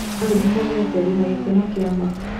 olly ndĩnogete ndĩna gĩkeno kĩa ma